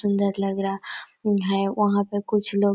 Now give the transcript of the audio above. सुन्दर लग रहा कोई है वहाँ पे कुछ लोग--